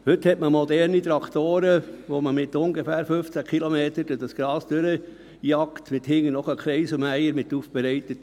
Heute hat man moderne Traktoren, mit denen man mit ungefähr 15 Kilometern pro Stunde durch das Gras jagt, und man hat hintendran einen Kreiselmäher mit Aufbereiter.